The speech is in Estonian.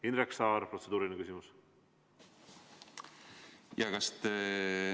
Indrek Saar, protseduuriline küsimus!